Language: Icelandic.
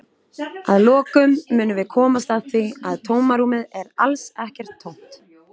Að lokum munum við komast að því að tómarúmið er alls ekki tómt!